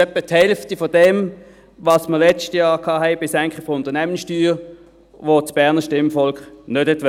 Das ist etwa die Hälfte von dem, was wir letztes Jahr bei der Senkung der Unternehmenssteuer hatten, die das Berner Stimmvolk nicht wollte.